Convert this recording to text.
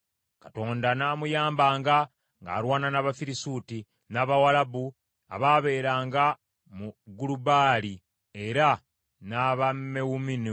Katonda n’amuyambanga ng’alwana n’Abafirisuuti, n’Abawalabu abaabeeranga mu Gulubaali, era n’Abamewunimu.